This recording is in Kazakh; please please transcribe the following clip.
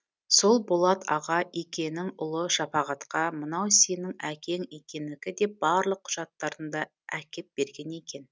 сол болат аға икенің ұлы шапағатқа мынау сенің әкең икенікі деп барлық құжаттарын да әкеп берген екен